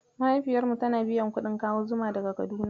Mahaifiyar mu tana biyan kuɗin kawo zuma daga Kaduna.